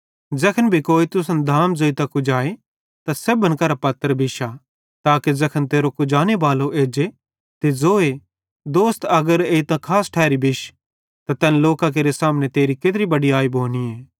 ज़ैखन भी कोई तुसन धाम ज़ोइतां कुजाए त सेब्भन करां पत्र बिश्शा ताके ज़ैखन तेरो कुजाने बालो एज्जे ते ज़ोए दोस्त अगर एइतां खास ठैरी बिश त तैन लोकां केरे सामने तेरी केत्री बड़याई भोनीए